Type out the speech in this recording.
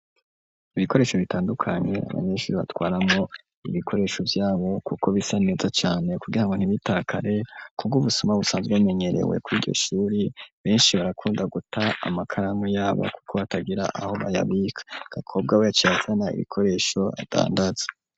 Ibikoresho bitandukanye, abanyeshuri batwaramwo ibikoresho vyabo kuko bisa neza cane, kugira ngo ntibitakare, kubwo ubusoma busanzwe bumenyerewe kuri iryo shuri, benshi barakunda guta amakaramu yabo kuko batagira aho bayabika; Gakobwa we yaciye azana ibikoresho adandaza.